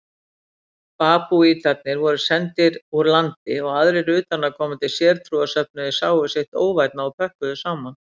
Babúítarnir voru sendir úr landi og aðrir utanaðkomandi sértrúarsöfnuðir sáu sitt óvænna og pökkuðu saman.